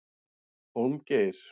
Hólmgeir